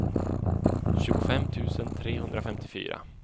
tjugofem tusen trehundrafemtiofyra